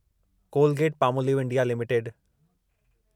Colgate Palmolive India limited